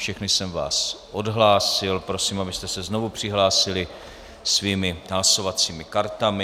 Všechny jsem vás odhlásil, prosím, abyste se znovu přihlásili svými hlasovacími kartami.